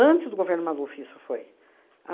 do governo Maluf, isso foi.